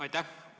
Aitäh!